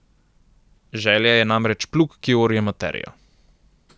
Želja je namreč plug, ki orje materijo.